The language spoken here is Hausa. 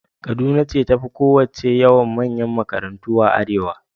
Kaduna ce ta fi kowacce yawan manyan makarantu a arewa.